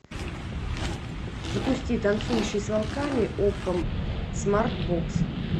запусти танцующий с волками окко смарт бокс